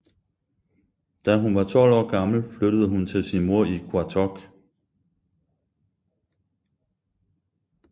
Da hun var 12 år gammel flyttede hun til sin mor i Qaqortoq